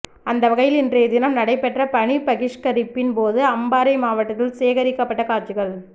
அந்தவகையில் இன்றைய தினம் நடைபெற்ற பணிப்பகிஷ்கரிப்பின் போது அம்பாறை மாவட்டத்தில் சேகரிக்கப்பட்ட காட்சிகள்